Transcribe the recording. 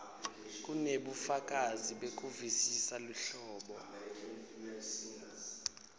kunebufakazi bekuvisisa luhlobo